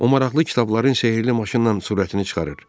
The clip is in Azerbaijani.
O maraqlı kitabların sehirli maşınnan surətini çıxarır.